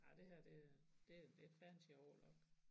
Ej det her det er det det fancy overlock